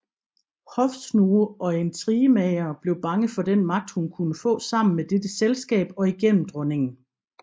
Hofsnoge og intrigemagere blev bange for den magt hun kunne få sammen med dette selskab og igennem dronningen